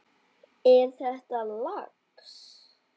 Er þetta lax?